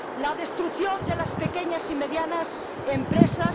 la destrucción de las pequeñas y medianas empresas